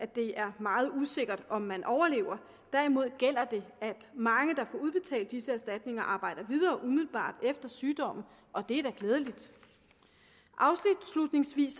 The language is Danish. det er meget usikkert om man overlever derimod gælder det at mange der får udbetalt disse erstatninger arbejder videre umiddelbart efter sygdommen og det er da glædeligt afslutningsvis